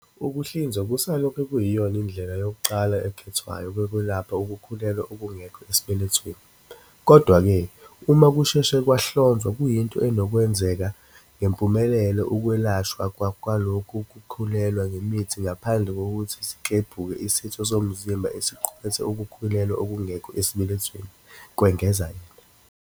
"Ukuhlinzwa kusalokhu kuyiyona ndlela yokuqala ekhethwayo yokwelapha ukukhulelwa okungekho esibelethweni, kodwa-ke uma kusheshe kwahlonzwa kuyinto enokwenzeka ngempumelelo ukwelashwa kwalokhu kukhulelwa ngemithi ngaphambi kokuthi siklebhuke isitho somzimba esiqukethe ukukhulelwa okungekho esibelethweni," kwengeza yena.